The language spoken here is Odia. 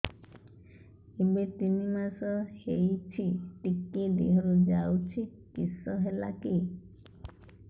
ଏବେ ତିନ୍ ମାସ ହେଇଛି ଟିକିଏ ଦିହରୁ ଯାଉଛି କିଶ ହେଲାକି